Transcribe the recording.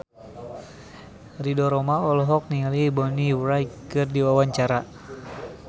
Ridho Roma olohok ningali Bonnie Wright keur diwawancara